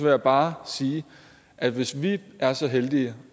jeg bare sige at hvis vi er så heldige